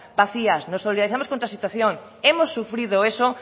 vacías nos solidarizamos contra la situación hemos sufrido eso